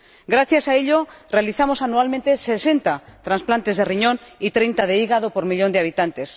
Gracias a ello, realizamos anualmente 60 trasplantes de riñón y 30 de hígado por cada millón de habitantes.